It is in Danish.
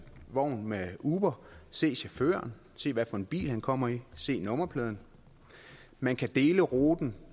vogn med uber se chaufføren se hvad for en bil han kommer i se nummerpladen man kan dele ruten